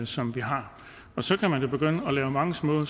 som vi har så kan man begynde at lave mange små